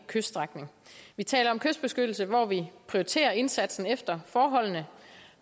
kyststrækning vi taler om kystbeskyttelse hvor vi prioriterer indsatsen efter forholdene